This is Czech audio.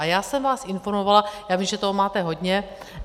A já jsem vás informovala - já vím, že toho máte hodně.